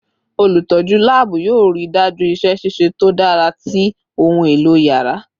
Olutọju laabu yoo rii daju iṣẹ ṣiṣe to dara ti ohun elo yàrá